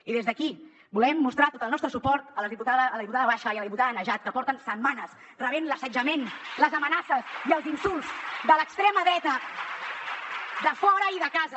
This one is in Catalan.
i des d’aquí volem mostrar tot el nostre suport a la diputada basha i a la diputada najat que porten setmanes rebent l’assetjament les amenaces i els insults de l’extrema dreta de fora i de casa